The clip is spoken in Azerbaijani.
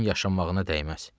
Onun yaşamağına dəyməz.